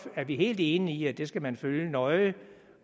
er vi helt enige i at det skal man følge nøje